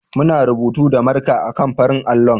Muna rubutu da marka a kan farar allo.